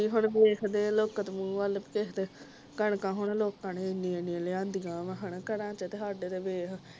ਹੁਣ ਵੇਖਦੇ ਹਾਂ ਲੋਕਾਂ ਦੇ ਮੂੰਹ ਵਲ ਕਿਸੇ ਦੇ ਕਣਕਾਂ ਹੁਣ ਲੋਕਾਂ ਨੇ ਇੰਨੀਆਂ ਏਨੀਆਂ ਲਿਆਂਦੀਆਂ ਵਾਂ ਘਰਾਂ ਦੇ ਵਿਚ ਸਾਡੇ ਤੇ ਵੇਖ